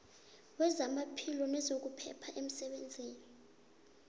wezamaphilo nezokuphepha emsebenzini